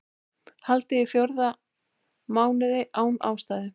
Haldið í fjóra mánuði án ástæðu